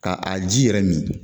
Ka a ji yɛrɛ min